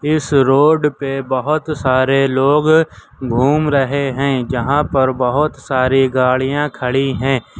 इस रोड पे बहुत सारे लोग घूम रहे हैं यहां पर बहुत सारी गाड़ियां खड़ी है।